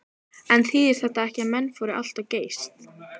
En þýðir þetta ekki að menn fóru allt of geyst?